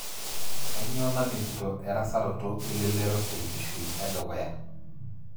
Kainyoo namitito erasaroto elelero tenkishui edukuya?